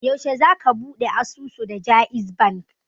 Yaushe za ka ɓuɗe asusu da jaiz bank?